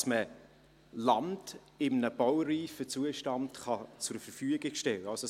damit man Land in einem baureifen Zustand zur Verfügung stellen kann.